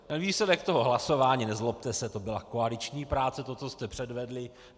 Výsledek toho hlasování, nezlobte se, to byla koaliční práce, to, co jste předvedli.